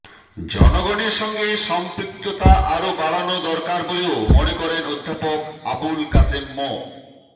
জনগণের সঙ্গে সম্পৃক্ততা আরো বাড়ানো দরকার বলেও মনে করেন অধ্যাপক আবুল কাশেম মো